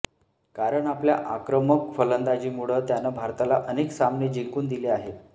कारण आपल्या आक्रमक फलंदाजीमुळं त्यानं भारताला अनेक सामने जिंकून दिले आहेत